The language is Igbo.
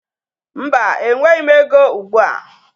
Mba, enweghi m ego ugbụa.